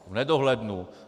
V nedohlednu.